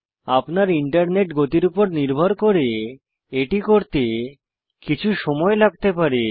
আপনার ইন্টারনেটের গতির উপর নির্ভর করে এটি করতে কিছু সময় লাগতে পারে